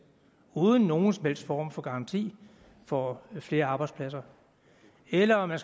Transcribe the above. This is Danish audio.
og uden nogen som helst form for garanti for flere arbejdspladser eller om man